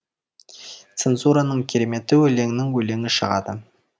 цензураның кереметі өлеңнің өлеңі шығады